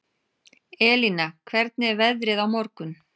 Elina, hvernig er veðrið á morgun?